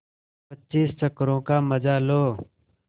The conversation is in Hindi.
पच्चीस चक्करों का मजा लो